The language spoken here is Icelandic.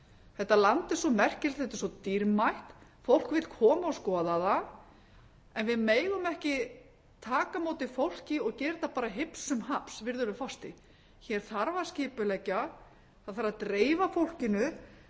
þetta land er svo merkilegt þetta er svo dýrmætt fólk vill koma og skoða það en við megum ekki taka á móti fólki og gera þetta bara hipsumhaps virðulegi forseti hér þarf að skipuleggja það þarf að dreifa fólkinu það þarf